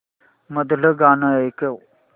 मधलं गाणं ऐकव